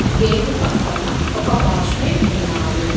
Gate పక్కన ఒక watchman ఉన్నాడు.